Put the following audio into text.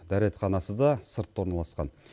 дәретханасы да сыртта орналасқан